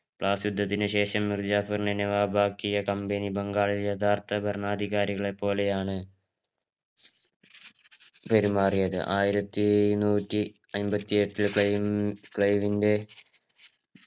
ബ്ലാസ് യുദ്ധത്തിന് ശേഷം മുർജഫൂർ നെ നവാബാക്കിയ company ബംഗാളിൽ യഥാർത്ഥ ഭരണാധികളെ പോലെയാണ് പെരുമാറിയത് ആയിരത്തി എയ്ന്നൂറ്റി അയ്മ്പത്തിയെട്ടിൽ പ്ലെയിം ക്ലൈവിന്‍റെ